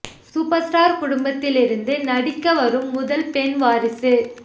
super star குடும்பத்தில் இருந்து நடிக்க வரும் முதல் பெண் வாரிசு